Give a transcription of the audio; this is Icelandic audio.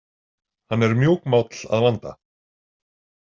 Hann er mjúkmáll að vanda.